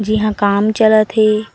जी ह काम चलत हे।